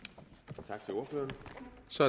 så